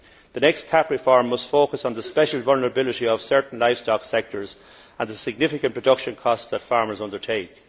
The next CAP reform must focus on the special vulnerability of certain livestock sectors and the significant production costs that farmers undertake.